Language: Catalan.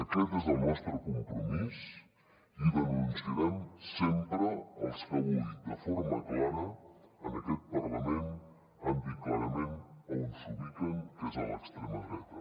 aquest és el nostre compromís i denunciarem sempre els que avui de forma clara en aquest parlament han dit clarament on s’ubiquen que és a l’extrema dreta